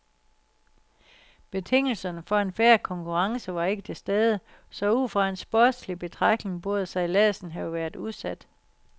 Betingelserne for en fair konkurrence var ikke tilstede, så ud fra en sportslig betragtning burde sejladsen have været udsat.